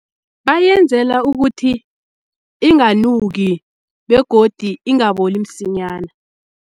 Bayenzela ukuthi inganuki begodi ingaboli msinyana.